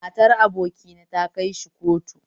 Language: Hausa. Matar abokina ta kaishi kotu